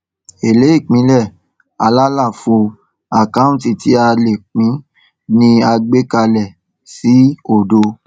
èlé ìpínlẹ àlàfo àkáǹtì tí a lè pín ni a gbé kalẹ sí òdo